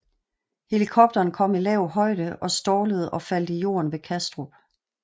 Helikopteren kom i lav højde og stallede og faldt i jorden ved Kastrup